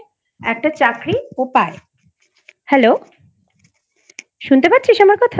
একটা চাকরি ও পায় Hello শুনতে পারছিস আমার কথা?